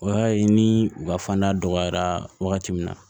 O y'a ye ni u ka fanda dɔgɔyara wagati min na